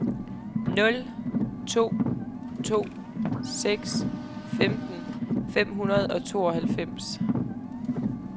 nul to to seks femten fem hundrede og tooghalvfems